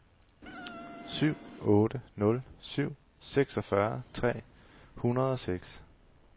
syv otte nul syv seksogfyrre tre hundrede og seks